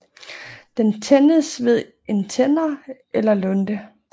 Den tændes ved en tænder eller lunte